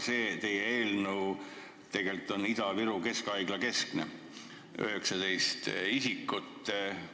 See teie eelnõu on tegelikult Ida-Viru Keskhaigla keskne: seal on registreeritud 19 kolmandatest riikidest pärit tervishoiutöötajat.